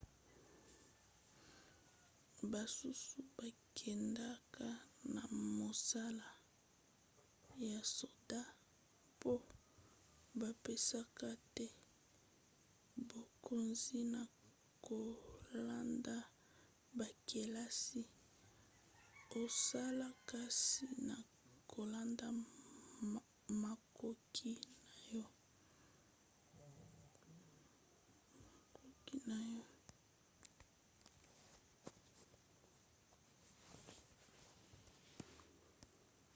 basusu bakendaka na mosala ya soda mpo bapesaka te bokonzi na kolanda bakelasi osala kasi na kolanda makoki na yo